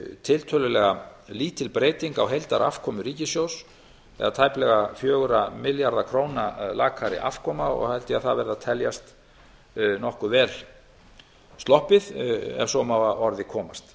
tiltölulega lítil breyting á heildarafkomu ríkissjóðs það er tæplega fjögurra milljarða króna lakari afkoma og held ég að það verði að teljast nokkuð vel sloppið ef svo má að orði komast